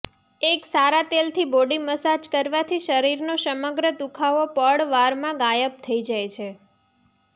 એક સારા તેલથી બોડી મસાજ કરવાથી શરીરનો સમગ્ર દુઃખાવો પળવારમાં ગાયબ થઇ જાય છે